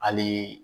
Hali